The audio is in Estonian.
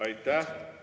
Aitäh!